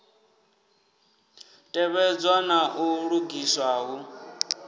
tevhedzwe na u lugiswa hu